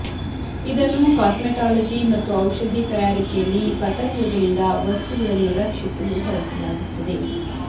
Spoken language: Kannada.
ಇದನ್ನು ಕಾಸ್ಮೆಟಾಲಜಿ ಮತ್ತು ಔಷಧಿ ತಯಾರಿಕೆಯಲ್ಲಿ ಪತಂಗಗಳಿಂದ ವಸ್ತುಗಳನ್ನು ರಕ್ಷಿಸಲು ಬಳಸಲಾಗುತ್ತದೆ